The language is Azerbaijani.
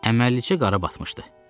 Əməlliçə qara batmışdı.